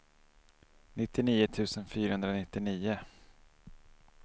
nittionio tusen fyrahundranittionio